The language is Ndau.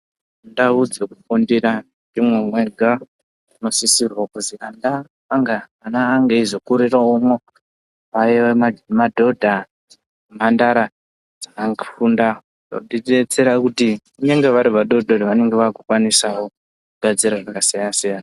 Ndau dzekufundira ndimo mega munosisa kuti vana vange veizokuriramo vaye madhodha nemhandara dzakafunda kudetsera kuti vari vadodori vanenge vakukwanisa kugadzira.